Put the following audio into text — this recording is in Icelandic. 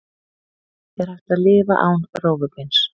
Er hægt að lifa án rófubeins?